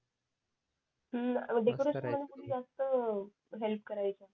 हम्म जास्त हेल्प करायचे